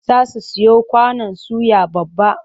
Za su siyo kwanon suya babba.